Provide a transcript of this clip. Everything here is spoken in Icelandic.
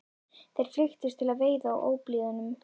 Þeir flykktust til veiða á óblíðum